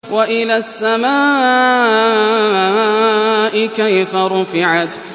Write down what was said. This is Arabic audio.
وَإِلَى السَّمَاءِ كَيْفَ رُفِعَتْ